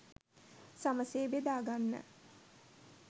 සමසේ බෙදාගන්න